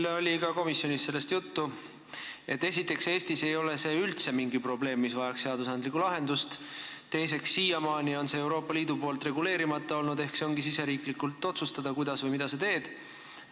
Meil oli ka komisjonis sellest juttu, et esiteks ei ole see Eestis üldse mingi probleem, mis vajaks seadusandlikku lahendust, ja teiseks, siiamaani on see Euroopa Liidus reguleerimata olnud ehk see ongi iga riigi enda otsustada, kuidas või mida ta teeb.